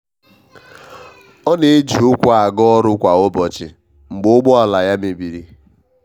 ọ na e ji ukwu na aga ọrụ kwa ụbọchị mgbe ụgbọ ala ya mebiri.